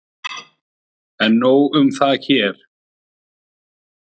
En nóg um það hér.